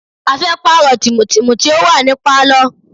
A fẹ́ pààrọ̀ tìmù tìmù tí ó wà ní Pálọ̀.